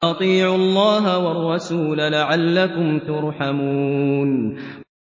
وَأَطِيعُوا اللَّهَ وَالرَّسُولَ لَعَلَّكُمْ تُرْحَمُونَ